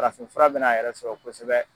Farafinfura bɛn'a yɛrɛ sɔrɔ kosɛbɛ.